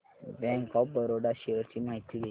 bank of Baroda shares ची माहिती दे